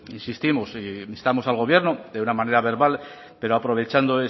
insistimos e instamos al gobierno de una manera verbal pero aprovechando